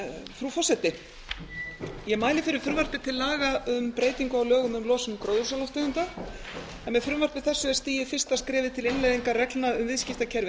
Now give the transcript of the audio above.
frú forseti ég mæli fyrir frumvarpi til laga um breytingu á lögum um losun gróðurhúsalofttegunda en með frumvarpi þessu er stigið fyrsta skrefið til innleiðingar reglna um viðskiptakerfi